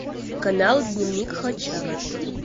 канал дневник хача